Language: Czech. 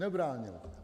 Nebránily.